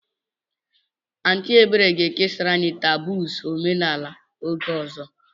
Aunty Ebere ga-ekesara anyị taboos omenala oge ọzọ.